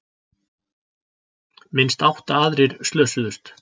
Minnst átta aðrir slösuðust